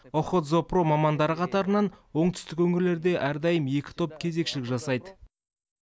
охотзоопром мамандары қатарынан оңтүстік өңірлерде әрдайым екі топ кезекшілік жасайды